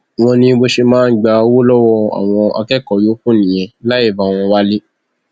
wọn ní bó ṣe máa ń gba owó lọwọ àwọn akẹkọọ yòókù nìyẹn láì bá wọn wá ilé